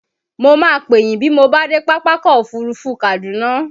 Mo máa pè yín bí mo bá dé Pápákọ̀ Òfurufú Kaduna.